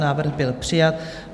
Návrh byl přijat.